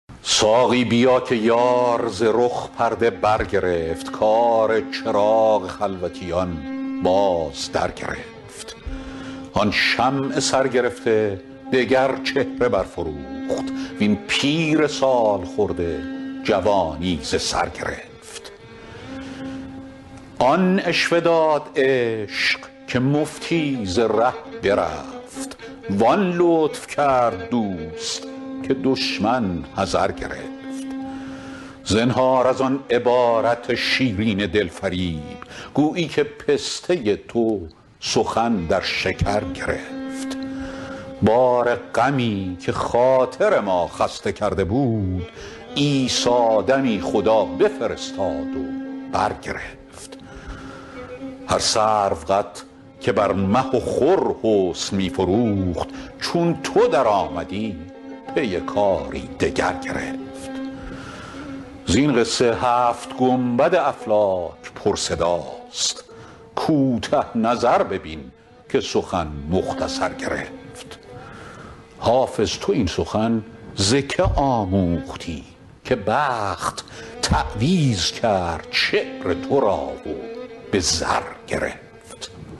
ساقی بیا که یار ز رخ پرده برگرفت کار چراغ خلوتیان باز درگرفت آن شمع سرگرفته دگر چهره برفروخت وین پیر سال خورده جوانی ز سر گرفت آن عشوه داد عشق که مفتی ز ره برفت وان لطف کرد دوست که دشمن حذر گرفت زنهار از آن عبارت شیرین دل فریب گویی که پسته تو سخن در شکر گرفت بار غمی که خاطر ما خسته کرده بود عیسی دمی خدا بفرستاد و برگرفت هر سروقد که بر مه و خور حسن می فروخت چون تو درآمدی پی کاری دگر گرفت زین قصه هفت گنبد افلاک پرصداست کوته نظر ببین که سخن مختصر گرفت حافظ تو این سخن ز که آموختی که بخت تعویذ کرد شعر تو را و به زر گرفت